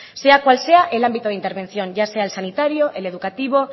sea cual sea el ámbito de intervención ya sea el sanitario el educativo